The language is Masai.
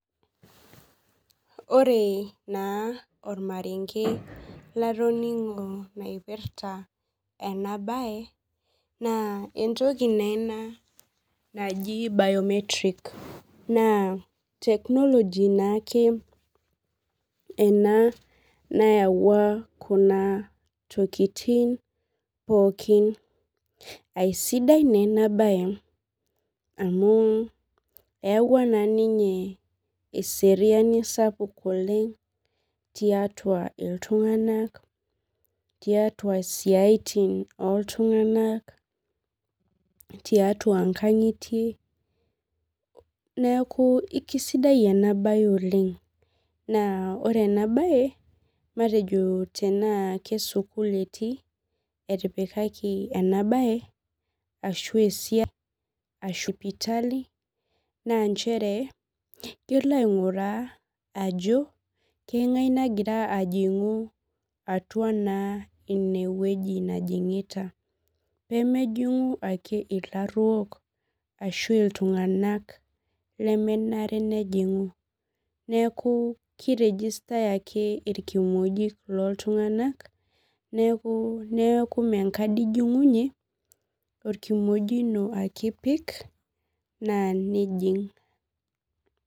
Ore naa ormarenke latoning'o naipirta ena bae, naa entoki naa ena naji biometric naa technology naake ena nayaua kuna tokitin pookin. Aisidai naa ena bae amuu eyaua naa ninye eseriani sapuk oleng' tiatua iltung'ana, tiatua isiatin oltung'ana, tiatua inkang'itie. Neeku kisidai ena bae oleng'. Naa ore ena bae matejo tena kesukul etii, etipikaki ena bae ashu esiai, sipitali naa nchere kelo aing'uraa ajo kengae nagira ajing'u atua naa ineweji najing'it. Pemejing'u ake alaruok ashu iltung'anak lemenare nejing'u. Neeku kei [register] ae ake irkimojik loo iltung'anak neeku mee enkadi ining'unye, orkimojino ake ipik naa ninjing'.